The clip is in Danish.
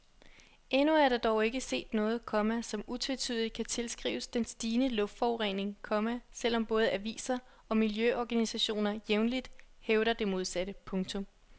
Endnu er der dog ikke set noget, komma som utvetydigt kan tilskrives den stigende luftforurening, komma selvom både aviser og miljøorganisationer jævnligt hævder det modsatte. punktum